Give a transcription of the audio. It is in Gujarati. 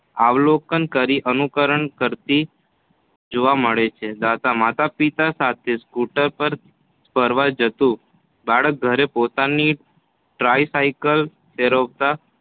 અવલોકન કરી અનુકરણ કરતી જોવા મળે છે. દા ત માતા પિતા સાથે સ્કૂટર પર ફરવા જતું બાળક પર પોતાની ટ્રાપસાયલ ફેરવતા